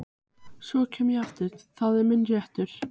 Svo kem ég aftur, það er minn réttur.